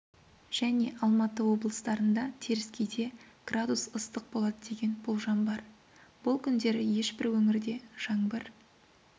және алматы облыстарында теріскейде градус ыстық болады деген болжам бар бұл күндері ешбір өңірде жаңбыр